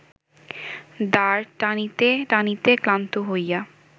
দাঁড় টানিতে টানিতে ক্লান্ত হইয়া